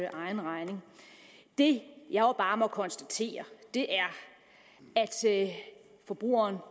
egen regning det jeg bare må konstatere er at forbrugeren